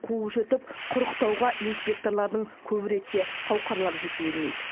қуып жетіп құрықтауға инспекторлардың көп ретте қауқарлары жете бермейді